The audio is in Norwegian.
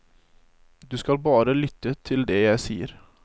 Du skal bare lytte til det jeg sier.